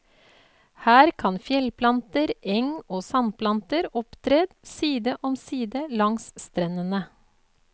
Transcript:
Her kan fjellplanter, eng og sandplanter opptre side om side langs strendene.